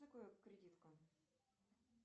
что такое кредитка